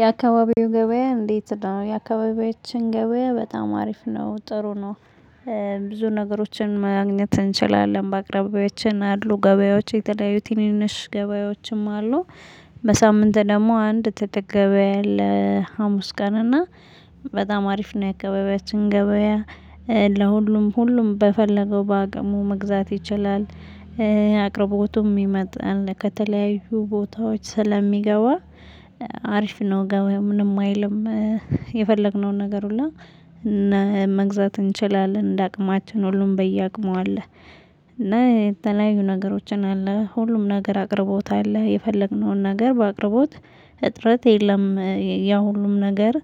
የአካባቢው ገበያ እንዴት? ነው የአካባቢዎችን ገበያ በጣም አሪፍ ነው ጥሩ ነው። ብዙ ነገሮችን ማግኘት እንችላለን በአቅራቢያችን አሉ ገበያዎች የተለያዩት ትንንሽ ገበያዎችም አሉ። በሳምንት ደግሞ አንድ ትልቅ ገበያ አለ ሀሙስ ቀንና። በጣም አሪፍ ነው የአከበቢያችን ገበያ። ለሁሉም ሁሉም በፈለገው በአቅሙ መግዛት ይችላል። አቅርቦት ይመጣል ከተለያዩ ቦታዎች ስለሚገባ። አሪፍ ነው ገበያ ምንም አይልም። የፈለግነውን ነገር ሁሉ መግዛት እንችላለን እንደ አቅማችን ሁሉም በየአቅሙ አለ። እና የተለያዩ ነገሮችን አለ ሁሉም ነገር አቅርቦት አለ የፈለግነውን ነገር በአቅርቦት እጥረት የለም። ያው ሁሉም ነገር